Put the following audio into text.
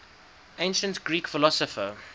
ancient greek philosopher